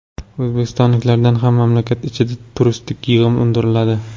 O‘zbekistonliklardan ham mamlakat ichida turistik yig‘im undiriladi.